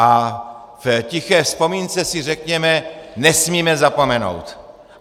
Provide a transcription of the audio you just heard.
A v tiché vzpomínce si řekněme: Nesmíme zapomenout!